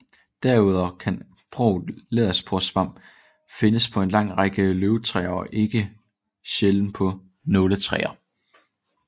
Derudover kan Broget Læderporesvamp findes på en lang række løvtræer og ikke sjældent på nåletræer